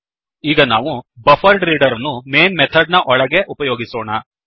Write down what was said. ಈಗ ನಾವು buffered reader buffered reader ಅನ್ನು mainಮೇನ್ ಮೆಥಡ್ ನ ಒಳಗೆ ಉಪಯೋಗಿಸೋಣ